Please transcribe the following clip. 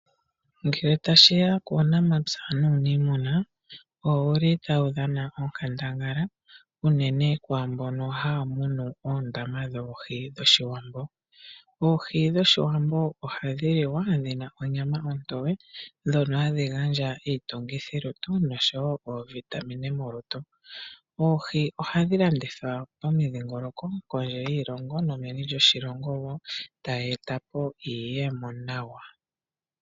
Ngele tashi ya kuunamapya nuuniimuna oshili oyuli tawu dhana onkandangala unene kwaambono haya gunu oondama dhoohi dhoshiwambo. Oohi dhoshiwambo ohadhi li wa dhina onyama ontoye dhono hashi gandja iitungithi molutu nenge oovitamine. Oohi ohadhi longithwa pamadhingoloko meni lyoshilongo nokondje yoshilongo tayi e ta po iiyemo nawa.